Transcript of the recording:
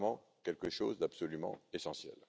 C'est vraiment quelque chose d'absolument essentiel.